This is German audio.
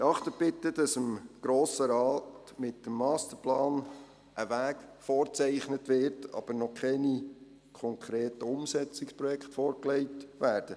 Beachten Sie bitte, dass dem Grossen Rat mit dem Masterplan ein Weg vorgezeichnet wird, aber noch keine konkreten Umsetzungsprojekte vorgelegt werden.